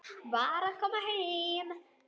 Var að koma heim.